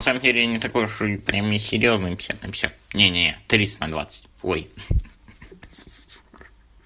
на самом деле я не такой уж прямо и серьёзный пятьдесят на пятьдесят не не тридцать на двадцать ой хи-хи сука